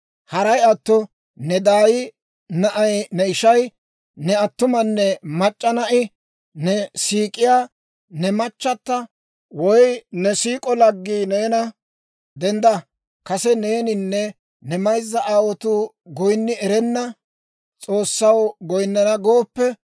«Haray atto ne daay na'ay ne ishay, ne attumanne mac'c'a na'i, ne siik'iyaa ne machchata, woy ne siik'o laggii neena, ‹Dendda, kase neeninne ne mayzza aawotuu goyinni erenna s'oossaw goyinnana› gooppe,